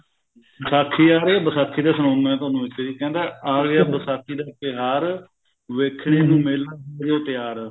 ਵਿਸਾਖੀ ਆ ਰਹੀ ਆ ਵਿਸਾਖੀ ਤੇ ਸੁਣਾਉ ਮੈਂ ਤੁਹਾਨੂੰ ਇੱਕ ਜੀ ਕਹਿੰਦਾ ਆ ਗਿਆ ਵਿਸ਼ਾਖੀ ਦਾ ਤਿਉਹਾਰ ਵੇਖਣੇ ਨੂੰ ਮੇਲਾ ਹੋਜੋ ਤਿਆਰ